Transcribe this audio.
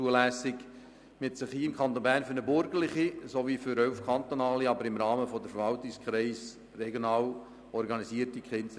Im Kanton Bern hat man sich für eine burgerliche und elf kantonale KESB ausgesprochen, die im Rahmen der Verwaltungskreise regional organisiert sind.